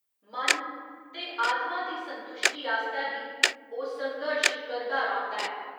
मन ते आत्मा दी संतुश्टी आस्तै बी ओह् संघर्श करदा रौंह्दा ऐ।